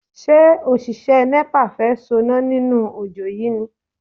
Ṣé òṣìṣẹ́ Nepa fẹ́ soná nínú ojó yìí ni?